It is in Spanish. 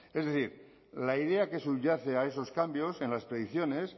es decir la idea que subyace a esos cambios en las predicciones